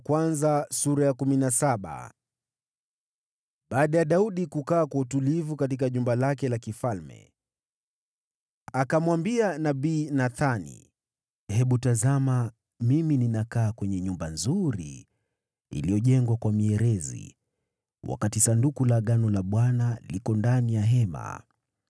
Baada ya Daudi kuingia rasmi katika jumba lake la kifalme, akamwambia nabii Nathani, “Hebu tazama, mimi ninakaa kwenye nyumba nzuri iliyojengwa kwa mierezi, wakati Sanduku la Agano la Bwana liko ndani ya hema.”